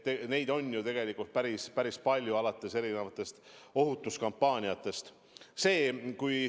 Neid on ju tegelikult päris palju, alates erinevatest ohutuskampaaniatest.